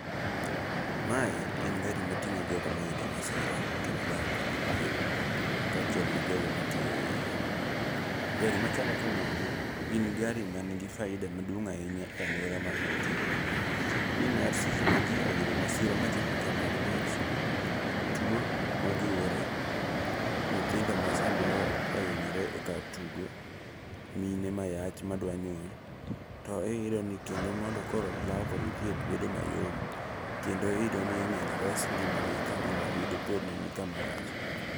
Mae en gari mating'o jogo ma oyudo masira kendo laro kodgi thieth, kaachiel gi jogo matiyo eiye. Gari machalo kamagi, gin gari man gi faida maduong' ahinya e aluora ma gintiere. Nimar seche maji oyudo masira machalo kaka mag mach, tuo ma ojiwore, nyithindo ma samoro ohinyore kar tugo, mine mayach madwa nyuol, to iyudo ni kendo mondo koro law kodgi thieth bedo mayom kendo iyudo ni nyalo res ngimagi kadipo ni ngimagi nikama rach.